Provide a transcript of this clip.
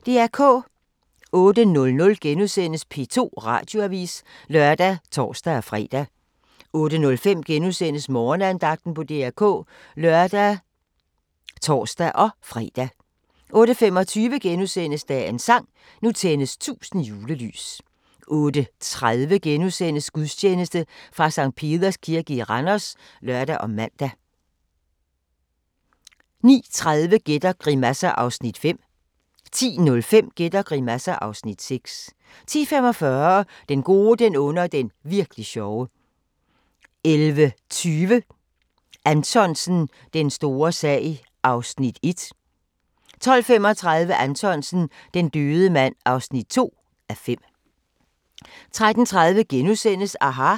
08:00: P2 Radioavis *(lør og tor-fre) 08:05: Morgenandagten på DR K *(lør og tor-fre) 08:25: Dagens sang: Nu tændes 1000 julelys * 08:30: Gudstjeneste fra Sct. Peders Kirke i Randers *(lør og man) 09:30: Gæt og grimasser (Afs. 5) 10:05: Gæt og grimasser (Afs. 6) 10:45: Den gode, den onde og den virk'li sjove 11:20: Anthonsen – Den store sag (1:5) 12:35: Anthonsen - Den døde mand (2:5) 13:30: aHA! *